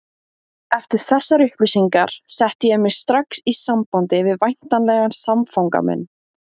Eftir þessar upplýsingar setti ég mig strax í samband við væntanlegan samfanga minn.